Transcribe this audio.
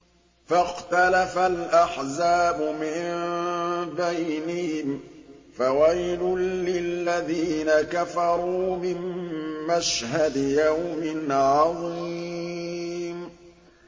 فَاخْتَلَفَ الْأَحْزَابُ مِن بَيْنِهِمْ ۖ فَوَيْلٌ لِّلَّذِينَ كَفَرُوا مِن مَّشْهَدِ يَوْمٍ عَظِيمٍ